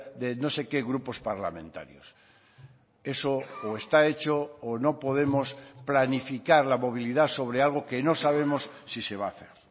de no sé qué grupos parlamentarios eso o está hecho o no podemos planificar la movilidad sobre algo que no sabemos si se va a hacer